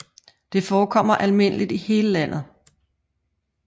Det forekommer almindeligt i hele landet